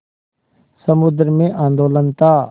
समुद्र में आंदोलन था